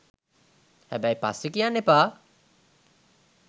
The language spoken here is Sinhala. හැබැයි පස්සෙ කියන්න එපා